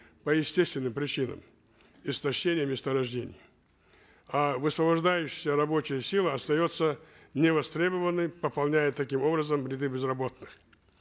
по естественным причинам истощение месторождений а высвобождающаяся рабочая сила остается невостребованной пополняя таким образом ряды безработных